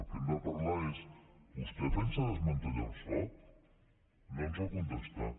del que hem de parlar és vostè pensa desmantellar el soc no ens va contestar